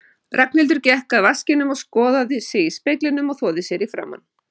Ragnhildur gekk að vaskinum, skoðaði sig í speglinum og þvoði sér í framan.